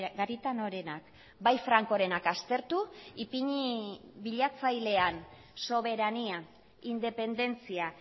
garitanorenak bai frankorenak aztertu ipini bilatzailean soberania independentzia